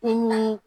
E ni